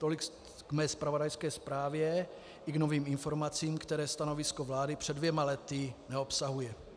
Tolik k mé zpravodajské zprávě i k novým informacím, které stanovisko vlády před dvěma lety neobsahuje.